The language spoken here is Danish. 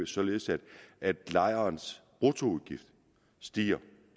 således at lejerens bruttoudgift stiger